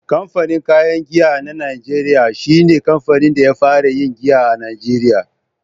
Kamfanin kayan giya na najeriya shi ne kamfanin da ya fara yin giya a Najeriya.